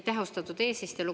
Aitäh, austatud eesistuja!